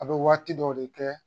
A bɛ waati dɔ de kɛ